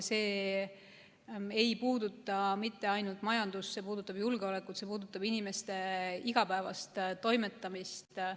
See ei puuduta mitte ainult majandust, vaid see puudutab ka julgeolekut ja see puudutab inimeste igapäevast toimetamist.